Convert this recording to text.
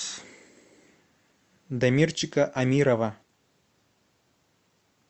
дамирчика амирова